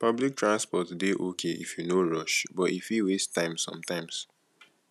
public transport dey okay if you no rush but e fit waste time sometimes